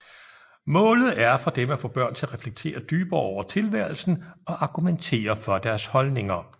Målet er for dem at få børn til at reflektere dybere over tilværelsen og argumentere for deres holdninger